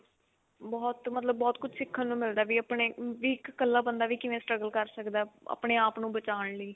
ਬਹੁਤ ਮਤਲਬ ਬਹੁਤ ਕੁੱਝ ਸਿਖਣ ਨੂੰ ਮਿਲਦਾ ਵੀ ਆਪਣੇ ਵੀ ਇੱਕ ਇਕਲਾ ਬੰਦਾ ਵੀ ਕਿਵੇਂ struggle ਕਰ ਸਕਦਾ ਆਪਣੇ ਆਪ ਨੂੰ ਬਚਾਣ ਲਈ